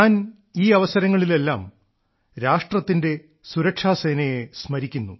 ഞാൻ ഈ അവസരങ്ങളിലെല്ലാം രാഷ്ട്രത്തിന്റെ സുരക്ഷാസേനയെ സ്മരിക്കുന്നു